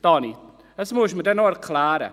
Daniel Trüssel, das müssen Sie mir noch erklären.